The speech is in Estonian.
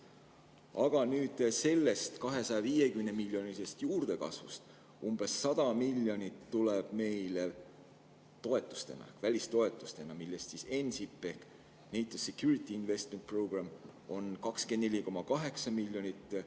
Aga sellest 250-miljonilisest juurdekasvust umbes 100 miljonit tuleb meile toetustena, välistoetustena, millest 24,8 miljonit on NSIP-ist ehk NATO Security Investment Programme'ist.